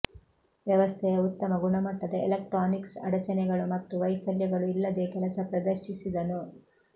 ವ್ಯವಸ್ಥೆಯ ಉತ್ತಮ ಗುಣಮಟ್ಟದ ಎಲೆಕ್ಟ್ರಾನಿಕ್ಸ್ ಅಡಚಣೆಗಳು ಮತ್ತು ವೈಫಲ್ಯಗಳು ಇಲ್ಲದೆ ಕೆಲಸ ಪ್ರದರ್ಶಿಸಿದನು